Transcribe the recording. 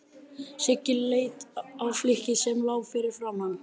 Siggi leit á flykkið sem lá fyrir framan hann.